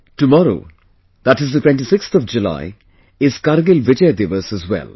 Tomorrow, that is the 26th of July is Kargil Vijay Diwas as well